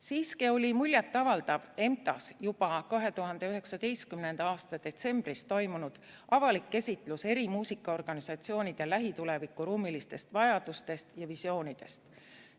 Siiski oli muljet avaldav EMTA‑s juba 2019. aasta detsembris toimunud avalik esitlus eri muusikaorganisatsioonide lähituleviku ruumilistest vajadustest ja visioonidest.